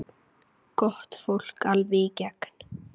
Gott fólk, alveg í gegn.